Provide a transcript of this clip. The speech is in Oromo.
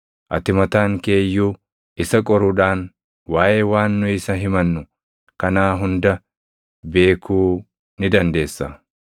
Ati mataan kee iyyuu isa qoruudhaan waaʼee waan nu isa himannu kanaa hunda beekuu ni dandeessa.”